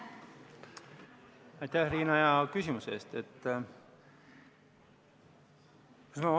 Aitäh, Riina, hea küsimuse eest!